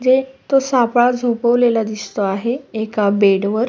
एक झोपलेला दिसत आहे एका बेड वर.